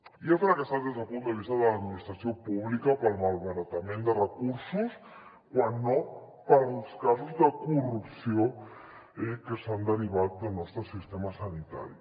i ha fracassat des del punt de vista de l’administració pública pel malbaratament de recursos quan no pels casos de corrupció que s’han derivat del nostre sistema sanitari